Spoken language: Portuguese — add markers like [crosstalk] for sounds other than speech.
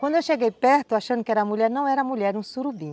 Quando eu cheguei perto, achando que era mulher, não era mulher, era um surubim [laughs]